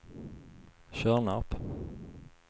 Tjörnarp